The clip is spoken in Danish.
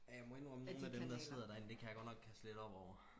ja jeg må indrømme nogen af dem der sidder derinde det kan jeg godt nok kaste lidt op over